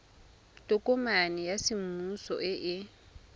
tokomane ya semmuso e e